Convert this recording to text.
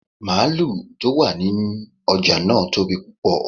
Máàlù tó wà ní ọjà náà tóbi púpọ.